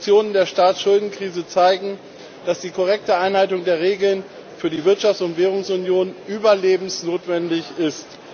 Die Lektionen der Staatsschuldenkrise zeigen, dass die korrekte Einhaltung der Regeln für die Wirtschafts und Währungsunion überlebensnotwendig ist.